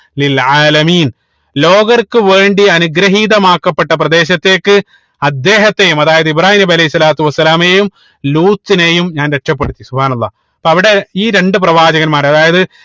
ലോകർക്ക് വേണ്ടി അനുഗ്രഹീതമാക്കപ്പെട്ട പ്രദേശത്തേക്ക് അദ്ദേഹത്തെയും അതായത് ഇബ്രാഹീം നബി അലൈഹി സ്വലാത്തു വസ്സലാമയും ലൂത്തിനെയും ഞാൻ രക്ഷപ്പെടുത്തി അള്ളാഹ് അപ്പൊ അവിടെ ഈ രണ്ട് പ്രവാചകന്മാരെ അതായത്